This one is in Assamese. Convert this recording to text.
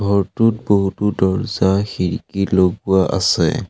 ঘৰটোত বহুতো দৰ্জ্জা খিৰিকী লগোৱা আছে।